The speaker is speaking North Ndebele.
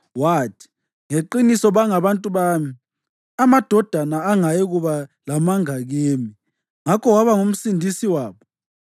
Wathi, “Ngeqiniso bangabantu bami; amadodana angayikuba lamanga kimi”; ngakho waba nguMsindisi wabo.